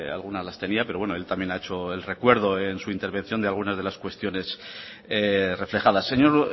alguna las tenía pero bueno él también ha hecho el recuerdo en su intervención de algunas de las cuestiones reflejadas señor